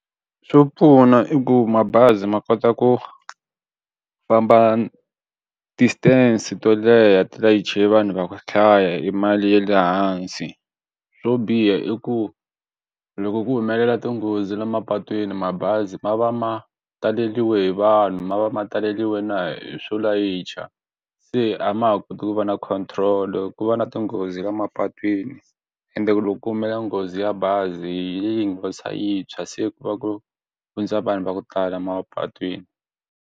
Swo pfuna i ku mabazi ma kota ku famba distance to leha ti layicha vanhu va ku hlaya i mali ya le hansi swo biha i ku loko ku humelela tinghozi la mapatwini mabazi ma va ma taleriwile hi vanhu ma va ma taleriwile na hi swo layicha se a ma ha koti ku va na control ku va na tinghozi la mapatwini ende loko ku humelela nghozi ya bazi yi yintshwa se ku va ku hundza vanhu va ku tala emapatwini.